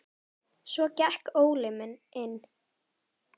Svo gekk Óli inn.